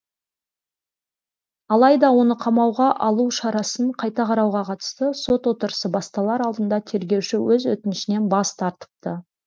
алайда оны қамауға алу шарасын қайта қарауға қатысты сот отырысы басталар алдында тергеуші өз өтінішінен бас тартыпты